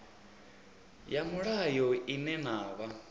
ya mulayo ine na vha